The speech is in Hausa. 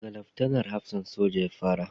Da ga Laftanar hafsan soja ya fara